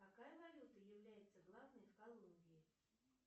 какая валюта является главной в колумбии